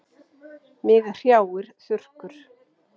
Mig hrjáir þurrkur.